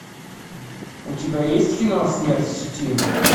у тебя есть кино смерть в сети